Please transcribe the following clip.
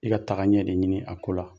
I ka tagaɲɛ de ɲini a ko la